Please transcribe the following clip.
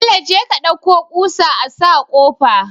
Bello jeka ka ɗauko kusa asa kofa